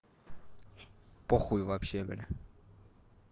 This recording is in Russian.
похуй вообще бля